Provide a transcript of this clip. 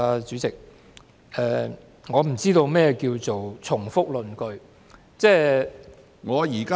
主席，我不知道何謂重複論據。